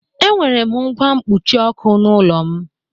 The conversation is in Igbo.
E nwere m ngwa mkpuchịọkụ n'ulọ m.